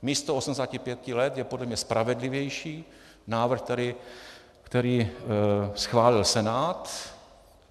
Místo 85 let je podle mě spravedlivější návrh, který schválil Senát.